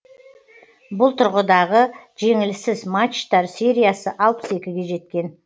бұл тұрғыдағы жеңіліссіз матчтар сериясы алпыс екіге жеткен